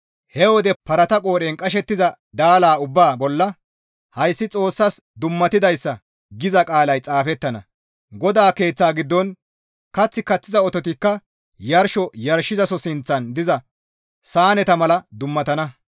He wode parata qoodhen qashettiza daala ubbaa bolla, «Hayssi Xoossas dummatidayssa» giza qaalay xaafettana; GODAA Keeththa giddon kath kaththiza ototikka yarsho yarshizaso sinththan diza saaneta mala dummatana.